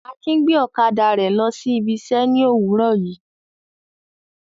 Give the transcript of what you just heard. Akin gbé ọ̀kadà lọ ibi iṣẹ́ ní òwúrọ̀ yìí.